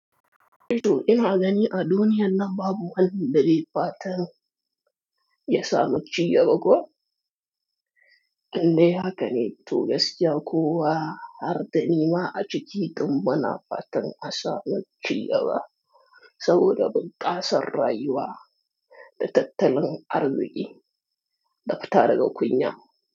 Eh to ina gani a duniya nan babu wani da dai fatan ya samu cigaba ko? Indai haka ne, to gaskiya kowa har da ni ma a ciki tun bana fatan a samu cigaba saboda bunƙasa rayuwa da tattalin arziki ka fita daga kunya.